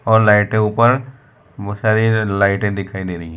और लाइटें ऊपर मू सारी लाइटें दिखाई दे रही है।